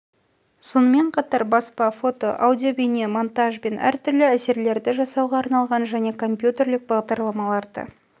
сонымен қатар баспа фото аудиобейне монтаж бен түрлі әсерлерді жасауға арналған және компьютерлік бағдарламаларды